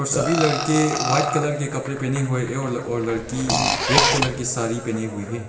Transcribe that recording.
और सभी लड़के व्हाइट कलर के कपड़े पहने हुए और लड़की रेड कलर की साड़ी पहनी हुई है।